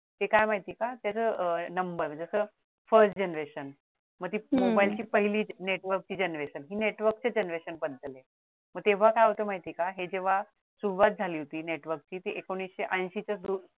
ते काय माहिती का ते म्हणजे नंबर म्हणजे ते first generation मग ती मोबाईलची पहिली network ची generation हे network च्या generation बद्दल आहे मग तेव्हा काय होत माहिते का हे जेव्हा सुरुवात झाली होती network ची ती एकोणविशे ऐशी च्या